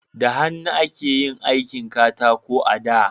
da hannu ake yin aikin katako da